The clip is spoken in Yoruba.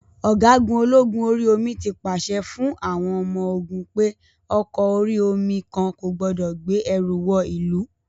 Ọ̀gágun ológun orí omi tí pàṣẹ fún àwọn ọmọ-ogun pé ọkọ orí-omi kan kò gbọdọ̀ gbé ẹrù wọ ìlú.